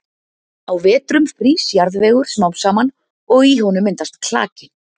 Á vetrum frýs jarðvegur smám saman og í honum myndast klaki.